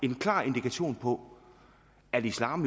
en klar indikation på at islam